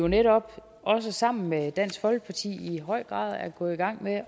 netop også sammen med dansk folkeparti i høj grad er gået i gang med